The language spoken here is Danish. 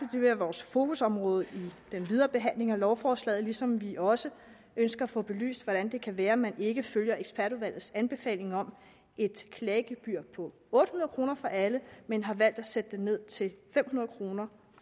det være vores fokusområde i den videre behandling af lovforslaget ligesom vi også ønsker at få belyst hvordan det kan være at man ikke følger ekspertudvalgets anbefalinger om et klagegebyr på otte hundrede kroner for alle men har valgt at sætte det ned til fem hundrede kroner